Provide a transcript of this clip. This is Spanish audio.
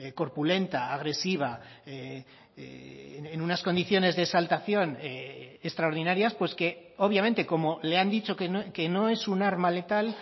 corpulenta agresiva en unas condiciones de exaltación extraordinarias pues que obviamente como le han dicho que no es un arma letal